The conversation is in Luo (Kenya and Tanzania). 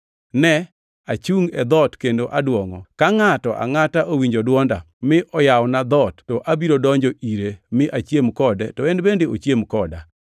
Ne! Achungʼ e dhoot kendo aduongʼo, ka ngʼato angʼata owinjo dwonda mi oyawona dhoot to abiro donjo ire mi achiem kode to en bende ochiem koda.